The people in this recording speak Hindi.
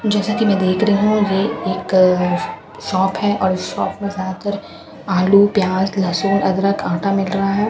जैसा कि मैं देख रही हूं कि यह एक शॉप है और इस शॉप पर ज्यादातर आलू प्याज लहसुन अदरक आटा मिल रहा है --